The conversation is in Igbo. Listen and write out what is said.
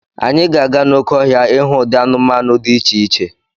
Anyị ga-aga n'oké ọhịa ịhụ ụdị anụmanụ dị iche iche.